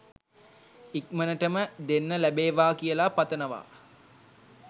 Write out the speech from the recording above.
ඉක්මන්ටම දෙන්න ලැබේවා කියලා පතනවා